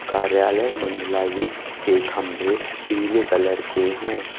कार्यालय मंडलायुक्त के खंभे पीले कलर के हैं।